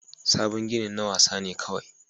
Sabon ginin na wasa ne kawai